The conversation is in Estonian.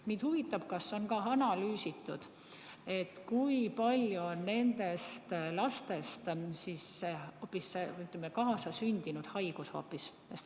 Mind huvitab, kas on analüüsitud, kui paljud nendest lastest on hoopis kaasasündinud haigusega.